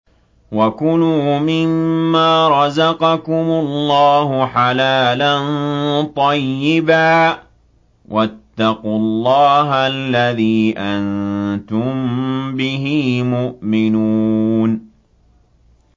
وَكُلُوا مِمَّا رَزَقَكُمُ اللَّهُ حَلَالًا طَيِّبًا ۚ وَاتَّقُوا اللَّهَ الَّذِي أَنتُم بِهِ مُؤْمِنُونَ